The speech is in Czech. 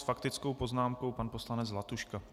S faktickou poznámkou pan poslanec Zlatuška.